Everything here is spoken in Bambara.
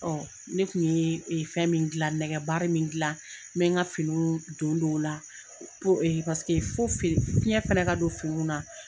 ne kun ye fɛn min gilan nɛgɛ min gilan n bɛ n ka finiw don don o la paseke fo fiɲɛ fana ka don finiw na.